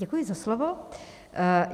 Děkuji za slovo.